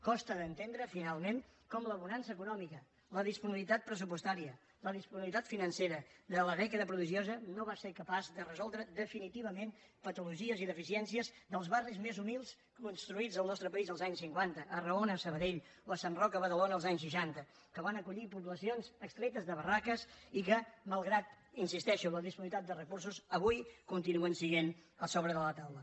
costa d’entendre finalment com la bonança econòmica la disponibilitat pressupostària la disponibilitat financera de la dècada prodigiosa no va ser capaç de resoldre definitivament patologies i deficiències dels barris més humils construïts al nostre país als anys cinquanta a arraona a sabadell o a sant roc a badalona als anys seixanta que van acollir poblacions extretes de barraques i que malgrat hi insisteixo la disponibilitat de recursos avui continuen sent a sobre de la taula